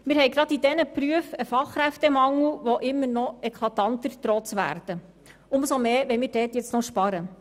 Wir haben gerade in diesen Berufen einen Fachkräftemangel, der immer eklatanter zu werden droht und sich noch verschärft, wenn wir dort sparen.